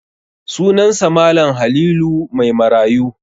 Sunansa Mal. Halilu Maimarayu.